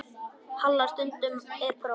Halla: Já, stundum er próf.